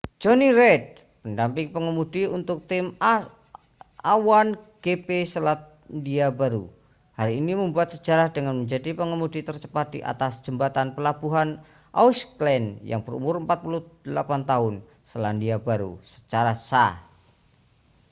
jonny reid pendamping pengemudi untuk tim a1gp selandia baru hari ini membuat sejarah dengan menjadi pengemudi tercepat di atas jembatan pelabuhan auckland yang berumur 48 tahun selandia baru secara sah